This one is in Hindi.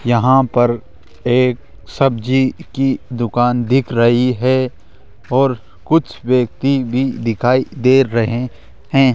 यहां पर एक सब्जी की दुकान दिख रही है और कुछ व्यक्ति भी दिखाई दे रहे हैं।